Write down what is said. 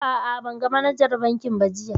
A'a, ban ga manajar bankin ba jiya